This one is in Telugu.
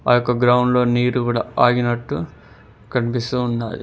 యొక్క గ్రౌండ్లో నీరు గుడా ఆగినట్టు కనిపిస్తూ ఉన్నాయి.